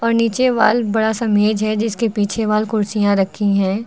नीचे वाल बड़ा सा मेज़ है जिसके पीछे वाल कुर्सियां रखी हैं।